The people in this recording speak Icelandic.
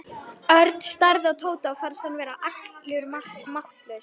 Örn starði á Tóta og fannst hann verða allur máttlaus.